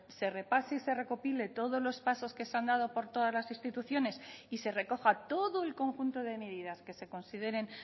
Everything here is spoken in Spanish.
se repase y se recopile todos los pasos que se han dado por todas las instituciones y se recoja todo el conjunto de medidas que se consideren